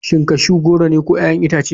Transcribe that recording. Shin cashew goro ne ko 'ya'yan itace.